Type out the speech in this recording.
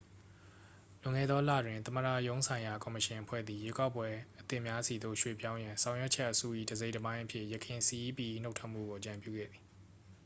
လွန်ခဲ့သောလတွင် သမ္မတရုံးဆိုင်ရာ ကော်မရှင်အဖွဲ့သည် ရွေးကောက်ပွဲအသစ်များဆီသို့ ရွှေ့ပြောင်းရန် ဆောင်ရွက်ချက်အစု၏ တစ်စိတ်တစ်ပိုင်းအဖြစ် ယခင် cep ၏ နှုတ်ထွက်မှုကို အကြံပြုခဲ့သည်